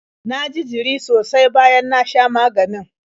Na ji jiri sosai bayan na sha maganin.